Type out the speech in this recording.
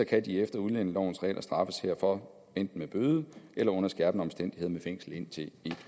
kan de efter udlændingelovens regler straffes herfor enten med bøde eller under skærpende omstændigheder med fængsel indtil en